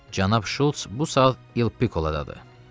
Cənab Şults bu saat Il Pikolodadır.